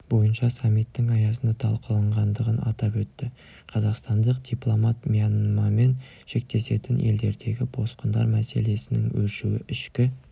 бойынша саммитінің аясында талқыланғандығын атап өтті қазақстандық дипломат мьянмамен шектесетін елдердегі босқындар мәселесінің өршуі ішкі